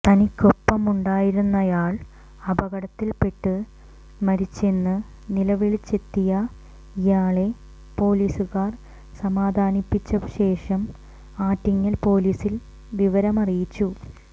തനിക്കൊപ്പമുണ്ടായിരുന്നയാൾ അപകടത്തിൽപ്പെട്ട് മരിച്ചെന്ന് നിലവിളിച്ചെത്തിയ ഇയാളെ പൊലീസുകാർ സമാധാനിപ്പിച്ചശേഷം ആറ്റിങ്ങൽ പൊലീസിൽ വിവരം അറിയിച്ചു